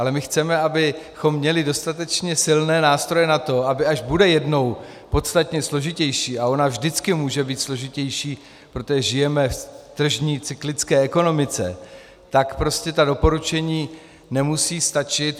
Ale my chceme, abychom měli dostatečně silné nástroje na to, aby až bude jednou podstatně složitější, a ona vždycky může být složitější, protože žijeme v tržní cyklické ekonomice, tak prostě ta doporučení nemusí stačit.